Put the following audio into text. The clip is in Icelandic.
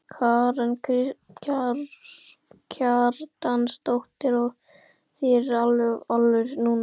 Karen Kjartansdóttir: Og þér er alveg alvara núna?